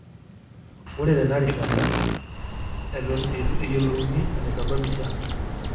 Ore tenarishasta, eton eitu eyiolouni enaisababisha.